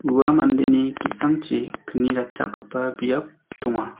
ua mandeni ki·sangchi kni ratchakgipa biap donga.